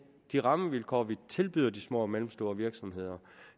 de rammevilkår vi tilbyder de små og mellemstore virksomheder